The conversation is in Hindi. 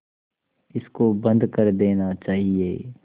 इसको बंद कर देना चाहिए